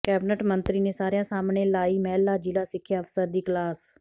cabinet ਮੰਤਰੀ ਨੇ ਸਾਰਿਆਂ ਸਾਹਮਣੇ ਲਾਈ ਮਹਿਲਾ ਜ਼ਿਲ੍ਹਾ ਸਿੱਖਿਆ ਅਫ਼ਸਰ ਦੀ ਕਲਾਸ